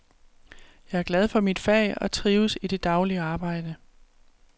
Jeg er glad for mit fag og trives i det daglige arbejde.